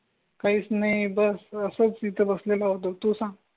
काहीच नाही बस असं तिथं बसलेला होतो तू सांग.